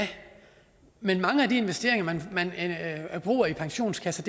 men i mange af de investeringer man bruger i pensionskasser